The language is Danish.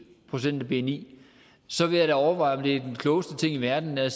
procent af bni så ville jeg da overveje om det var den klogeste ting i verden at